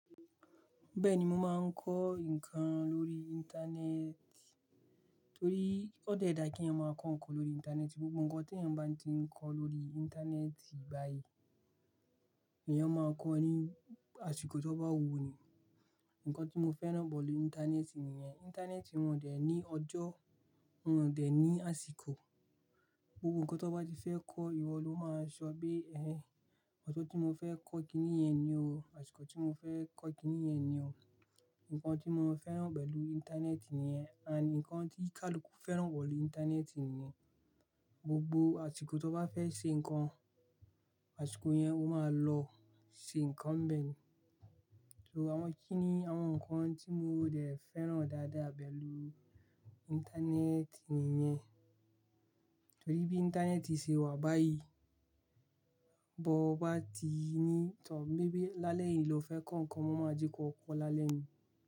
Bẹ́ẹ̀ni, mo máa ń kọ́ ǹkan lórí Íńtánẹ́ẹ̀tì torí ó dẹ́ ẹ dá kí ẹ̀yàn máa kọ ǹkan lórí Íńtánẹ́ẹ̀tì. Gbogbo ǹkan tí èyàn bá ti ń kọ lórí Íńtánẹ́ẹ̀tì báyìí, ẹ̀yàn máa n kọ ní àsìkò tí ó bá wù u nì. Ǹkan tí mo fẹ́ràn pẹ̀lú Íńtánẹ́ẹ̀tì nìyẹn. Íńtánẹ́ẹ̀tì wọ̀n dẹ̀ ní ọjọ́, wọ̀n dẹ̀ ní àsìkò. Gbogbo ǹkan tí ọ bá ti fẹ́ kọ́, ìwọ ló máa ṣọ bí, ẹ̀, ọjọ́ tí mo fẹ́ kọ́ kiní yẹn ni o, àsìkò tí mo fẹ́ kọ́ kiní yẹn ni o. Ǹkan tí mo fẹ́ràn pẹ̀lú Íńtánẹ́ẹ̀tì nìyẹn. Àní ǹkan tí kálú fẹ́ràn pẹ̀lú Íńtánẹ́ẹ̀tì niyèn, gbogbo àsìkò tí ọ bá fẹ́ ṣe ǹkan, àsìkò yẹn ó máa lọ ṣe ǹkan bẹ́ẹ̀ ni. So àwọn kí ni àwọn ǹkan tí mo dẹ̀ fẹ́ràn dáadáa pẹ̀lú Íńtánẹ́ẹ̀tì nìyẹn. Torí bí Íńtánẹ́ẹ̀tì ṣe wà báyìí, bó bá ti ní ìtọ̀n bí bí lálẹ́ yìí lọ fẹ́ kọ ǹkan, wọ́n máa jẹ́ kó kọ lálẹ́ yìí.